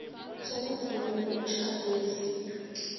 sokuvunywa komtjhado wesintu